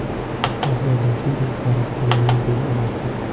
Sardor Rashidov borasida nima deya olasiz?